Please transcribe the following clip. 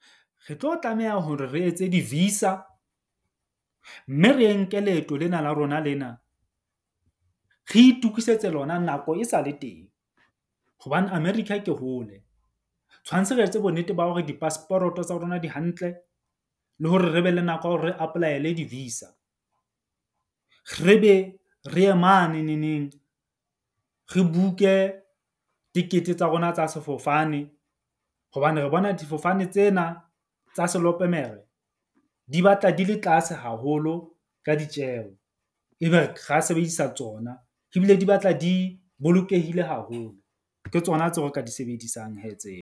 Re tlo tlameha hore re etse di-visa. Mme re nke leeto lena la rona lena re itukisetse lona nako e sa le teng. Hobane America ke hole tshwantse re etse bonnete ba hore di-passport-o tsa rona di hantle le hore re be le nako ya hore re apply-ele di-visa. Re be re ye mane neneng, re book-e tikete tsa rona tsa sefofane. Hobane re bona difofane tsena tsa selopemere di batla di le tlase haholo ka ditjeho. Ebe ra sebedisa tsona ebile di batla di bolokehile haholo. Ke tsona tseo re ka di sebedisang hee tseo.